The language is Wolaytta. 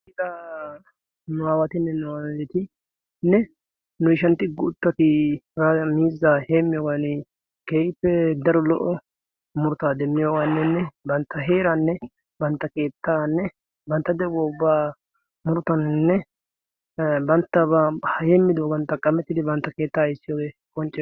ida nu aawatinne nu aaletiinne nu ishantti guuttati miizzaa heemmiyoowan keyiippe daro lo77o murtaa demmiyoawaannenne bantta heeraanne bantta keettaanne bantta dewwooaa murotannenne banttaa a heemmidoogan taqqamettidi bantta keettaa issiyoogee koncena